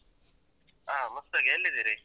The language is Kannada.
ಹಾ ಮುಸ್ತಾಕ್ ಎಲ್ಲಿದಿರಿ?